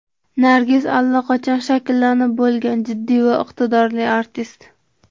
Nargiz allaqachon shakllanib bo‘lgan jiddiy va iqtidorli artist.